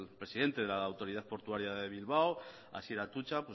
presidente de la autoridad portuaria de bilbao asier atutxa